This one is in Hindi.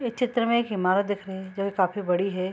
इस चित्र में एक इमारत दिख रही है जो की काफी बड़ी है।